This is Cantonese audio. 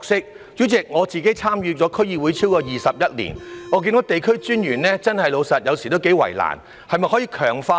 代理主席，我參與區議會超過21年，坦白說，有時候看見地區專員的確頗為為難，是否可以強化呢？